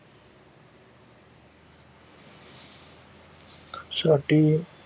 ਸਾਡੀ